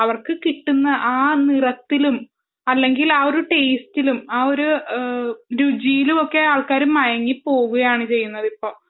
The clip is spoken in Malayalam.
അവർക്ക് കിട്ടുന്ന ആ നിറത്തിലും ടേസ്റ്റിലും ആ രുചിയിലും ആളുകൾ മയങ്ങി പോവുകയാണ് ചെയ്യുന്നത് ഇപ്പോൾ